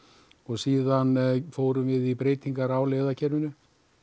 síðan fórum við í breytingar á leiðakerfinu